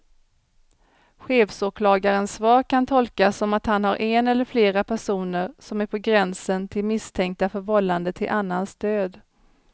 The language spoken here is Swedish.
Chefsåklagarens svar kan tolkas som att han har en eller flera personer som är på gränsen till misstänkta för vållande till annans död.